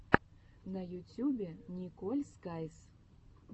на ютьюбе николь скайз